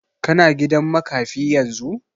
Ka na gidan makafi yanzu?